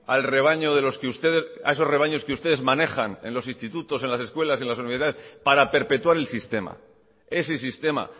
a esos rebaños que ustedes manejan en los institutos en las escuelas y en las universidades para perpetuar el sistema ese sistema